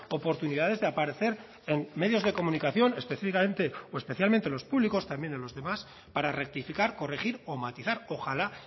oportunidades de aparecer en medios de comunicación específicamente o especialmente los públicos también en los demás para rectificar corregir o matizar ojalá